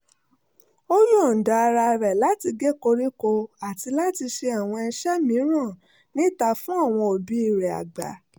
ó yọ̀ǹda ara rẹ̀ láti gé koríko àti láti ṣe àwọn iṣẹ́ mìíràn níta fún àwọn òbí rẹ̀ àgbà